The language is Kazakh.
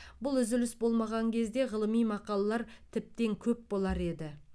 бұл үзіліс болмаған кезде ғылыми мақалалар тіптен көп болар еді